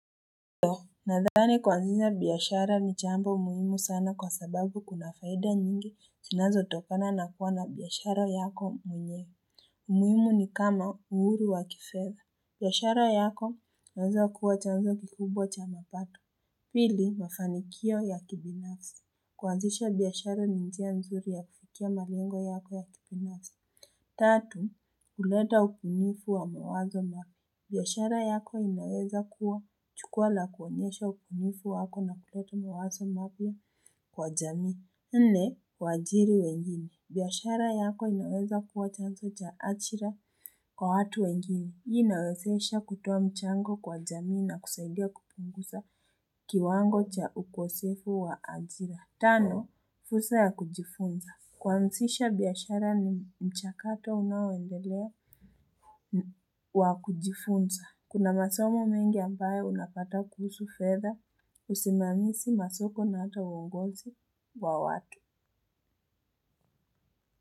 Nadhani kwuanzisha biashara ni jambo muhimu sana kwa sababu kuna faida nyingi zinazotokana na kuwa na biashara yako mwenyewe. Umuhimu ni kama uhuru wa kifedha. Biashara yako inaweza kuwa chanzo kikubwa cha mapato. Pili mafanikio ya kibinafsi kuanzisha biashara ninjia nzuri ya kufikia malengo yako ya kibinafsi. Tatu kuleta upungufu wa mawazo na biashara yako inaweza kuwa chukua la kuonyesha upunifu wako na kuleta mawaso mapya kwa jamii. Nne, wajiri wengine. Biashara yako inaweza kuwa chanso cha achira kwa watu wengine. Hii inawezesha kutoa mchango kwa jamii na kusaidia kupungusa kiwango cha ukosefu wa ajira. Tano, fursa ya kujifunza. Kwansisha biashara ni mchakato unaoendelea wa kujifunza. Kuna masomo mengi ambaye unapata kuhusu fedha, usimamisi masoko na hata uongonzi wa watu.